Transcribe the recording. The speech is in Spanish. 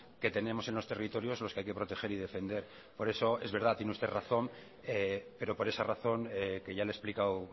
que tenemos en los territorios los que hay que proteger y defender por eso es verdad tiene usted razón pero por esa razón que ya le he explicado